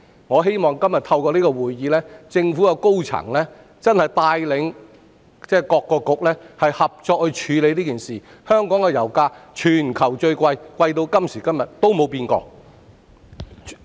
我希望透過今天這項質詢，政府高層可帶領各局合作處理這件事，因為香港的油價一直是全球最高，這情況直至今時今日都沒有改變。